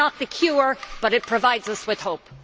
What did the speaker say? It is not the cure but it provides us with hope.